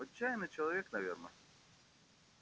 отчаянный человек наверное